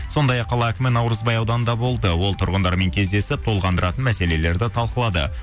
сондай ақ қала әкімі наурызбай ауданында болды ол тұрғындармен кездесіп толғандыратын мәселелерді талқылады